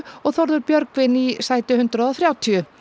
og Þórður Björgvin í sæti hundrað og þrjátíu